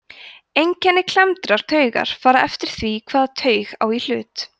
einkenni klemmdrar taugar fara eftir því hvaða taug á í hlut